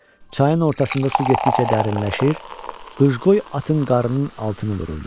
Çayın ortasında su getdikcə dərinləşir, qıcqoy atın qarnının altına vururdu.